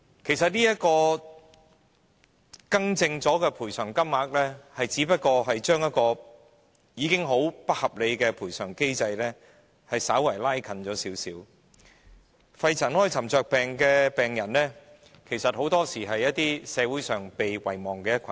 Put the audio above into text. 事實上，這個已修改的賠償金額，只不過是把一個本來是很不合理的賠償機制改變為並非太不合理，肺塵埃沉着病的病人其實很多時是被社會遺忘的一群。